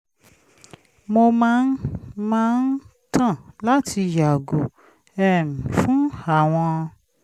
mó máa ń máa ń tàn láti yààgò um fún àwọn